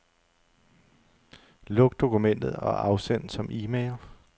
Luk dokumentet og afsend som e-mail.